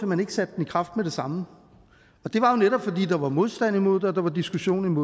man ikke satte den i kraft med det samme og det var netop at der var modstand imod det og der var diskussion om